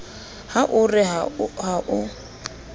ha o re ha o